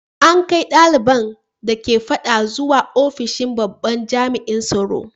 An kai daliban da ke fadan zuwa ofishin babban jami’in tsaro.